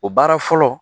O baara fɔlɔ